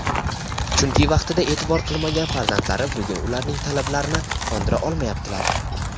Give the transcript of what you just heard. chunki vaqtida e’tibor qilmagan farzandlari bugun ularning talablarini qondira olmayaptilar.